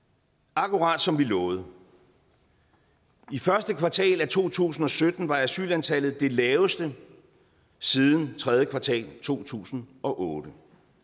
akkurat som vi lovede i første kvartal af to tusind og sytten var asylantallet det laveste siden tredje kvartal af to tusind og otte